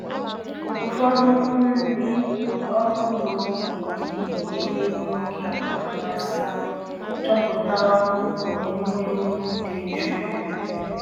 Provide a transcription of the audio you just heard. Ụfọdụ ndị ọrụ ugbo na-eji ehi nwoke anwansi chọpụta ọkụ n’ewumewụ dị jụụ.